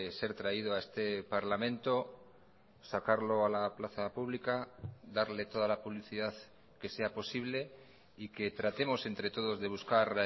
ser traído a este parlamento sacarlo a la plaza pública darle toda la publicidad que sea posible y que tratemos entre todos de buscar